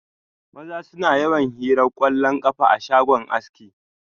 Maza suna yawan hiran kwallon kafa a shagon aski.